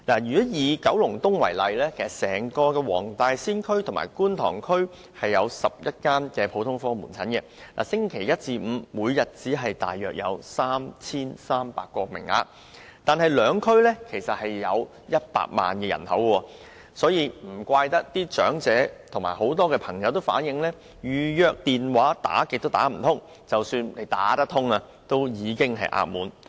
以九龍東為例，整個黃大仙區和觀塘區有11間普通科門診診所，星期一至五每天只有約 3,300 個名額，但兩區人口合共100萬人，難怪該兩區的長者和多位人士也表示，預約門診服務的電話甚少能接通，即使接通，亦已額滿。